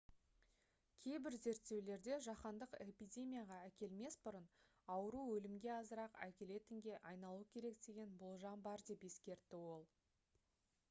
кейбір зерттеулерде жаһандық эпидемияға әкелмес бұрын ауру өлімге азырақ әкелетінге айналуы керек деген болжам бар деп ескертті ол